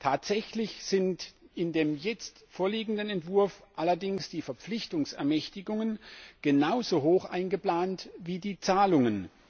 Tatsächlich sind in dem jetzt vorliegenden Entwurf allerdings die Verpflichtungsermächtigungen genauso hoch eingeplant wie die Zahlungen.